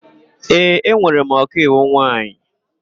Ee, enwere m ọkaiwu nwaanyị.